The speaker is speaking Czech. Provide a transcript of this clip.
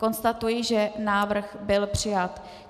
Konstatuji, že návrh byl přijat.